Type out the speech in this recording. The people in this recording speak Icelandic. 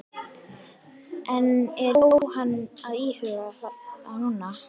En er Jóhanna að íhuga það núna?